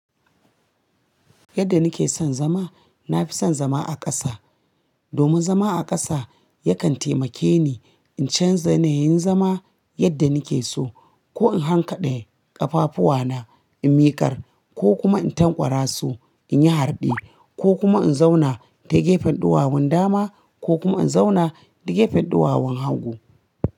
Yadda nake son zama, na fi son zama a ƙasa. Domin zama a ƙasa yakan taimake ni in canza yanayin zama yadda nake so, ko in hankade ƙafafuwana in miƙar, ko kuma in tankwara su in yi harɗe ko kuma in zauna ta gefen ɗuwawun dama, ko kuma in zauna ta gefen ɗuwawun hagu.